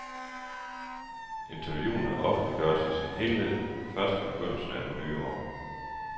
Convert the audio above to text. Interviewene offentliggøres i sin helhed først i begyndelsen af det nye år.